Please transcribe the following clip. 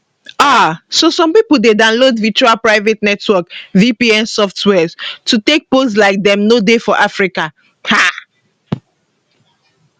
um so some pipo dey download virtual private network vpn softwares to take pose like dem no dey for africa um